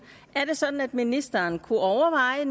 er det sådan at ministeren kunne overveje